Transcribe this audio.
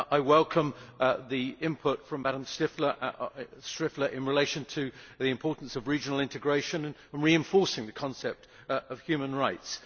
I welcome the input from Ms Striffler in relation to the importance of regional integration and reinforcing the concept of human rights.